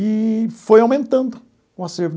Eee foi aumentando o acervo.